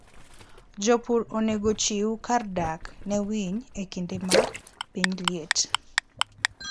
Jopur onego ochiw kar dak ne winy e kinde ma piny liet.